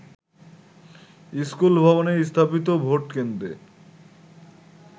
স্কুলভবনে স্থাপিত ভোটকেন্দ্রে